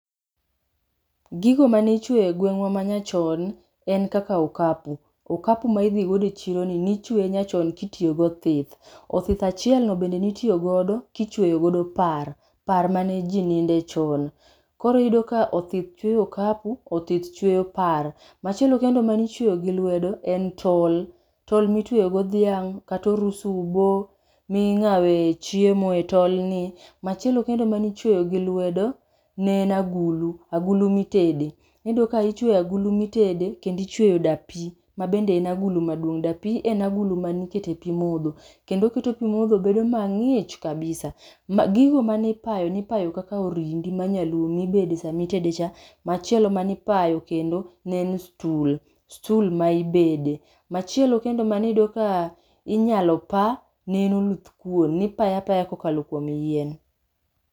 Gigo manichweyo e gweng'wa ma nyachon, en kaka okapu. Okapu ma idhigodo e chiro nichweye nyachon kitiyo go othith. Othith achielno bende nitiyogodo kichweyogodo par, par mane ji ninde chon. Koro iyudo ka othith chweyo okapu, othith chweyo par. Machielo kendo manichweyo gi lwedo en tol, tol mitweyo godo dhiang', kata orusubo, ming'awe chiemo e tolni. Machielo kendo manichweyo gi lwedo ne en agulu, agulu mitede. Niyudo ka nichweyo agulu mitede kendichweyo dapi, dapi en agulu manikete pi modho. Kendo oketo pi modho bedo mang'ich kabisa. Ma gigo manipayo nipayo kaka orindi ma nyaluo mibede samitede cha. Machielo manipayo kendo ne en stul, stul maibede. Machielo kendo maniyudo ka inyalo pa ne en oluthkuon, nipaye apaya kokalo kuom yien.